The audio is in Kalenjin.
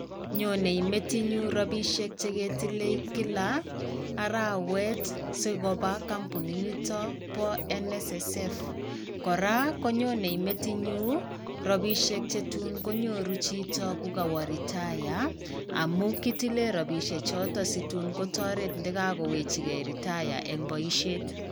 Nyonei metinyun robishek chegetilei kila arawet sikobaa kompunit nitok bo NSSF. Koraa, konyonei metinyun robishek chetun konyoru chito kokowoo retire amun kitilee robishek chotoo situn kotoret nde kakowechige retire eng' boishet.